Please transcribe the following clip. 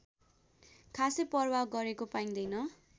खासै परवाह गरेको पाइँदैन